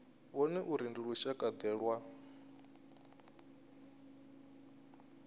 vhone uri ndi lushakade lwa